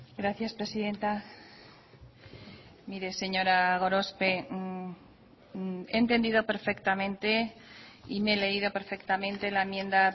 gracias presidenta mire señora gorospe he entendido perfectamente y me he leído perfectamente la enmienda